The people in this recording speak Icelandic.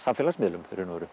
samfélagsmiðlum í raun og veru